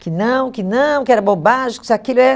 Que não, que não, que era bobagem. Que isso aquilo é